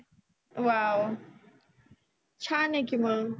wow छान आहे की मग